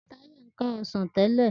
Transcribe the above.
Tayo n ká ọsàn tẹ́lẹ̀.